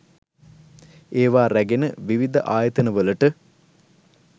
ඒවා රැගෙන විවිධ ආයතනවලට